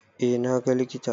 Eh na ga likita.